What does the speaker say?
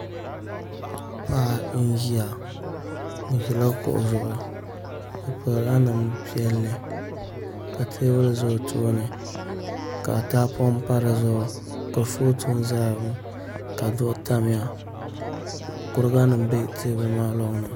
Paɣa n ʒiya o ʒila kuɣu zuɣu o pirila namda piɛlli ka teebuli ʒɛ o tooni ka tahapoŋ pa dizuɣu kurifooti n ʒɛya ŋo ka duɣu tamya kuriga nim bɛ teebuli maa loŋni